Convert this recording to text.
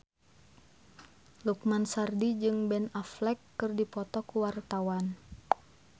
Lukman Sardi jeung Ben Affleck keur dipoto ku wartawan